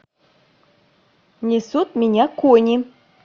несут меня кони